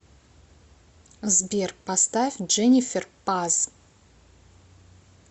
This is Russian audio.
сбер поставь дженифер паз